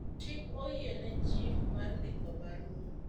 chik oyiene chief mar ndiko barua